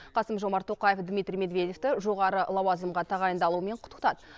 қасым жомарт тоқаев дмитрий медведевті жоғары лауазымға тағайындалуымен құттықтады